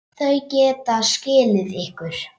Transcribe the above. Þau geta skilið ykkur.